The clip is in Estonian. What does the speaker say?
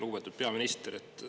Lugupeetud peaminister!